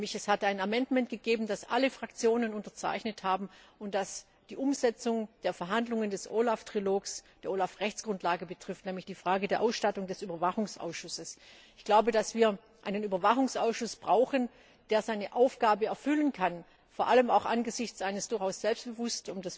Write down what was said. Es hat einen Änderungsantrag gegeben, den alle Fraktionen unterzeichnet haben und der die Umsetzung der Verhandlungen des OLAF Trilogs, der OLAF Rechtsgrundlage, betrifft, nämlich die Frage der Ausstattung des Überwachungsausschusses. Ich bin der Meinung, dass wir einen Überwachungsausschuss brauchen, der seine Aufgabe erfüllen kann, vor allem auch angesichts eines durchaus selbstbewusst